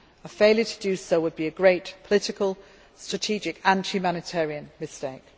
A failure to do so would be a great political, strategic and humanitarian mistake.